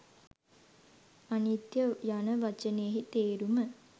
අනිත්‍ය යන වචනයෙහි තේරුම